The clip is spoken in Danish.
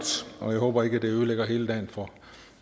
og jeg håber ikke det ødelægger hele dagen for